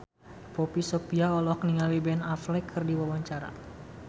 Poppy Sovia olohok ningali Ben Affleck keur diwawancara